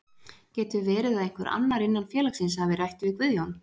Getur verið að einhver annar innan félagsins hafi rætt við Guðjón?